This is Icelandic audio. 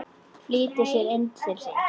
Flýtti sér inn til sín.